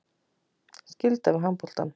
Skylda við handboltann